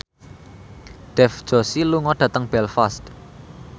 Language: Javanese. Dev Joshi lunga dhateng Belfast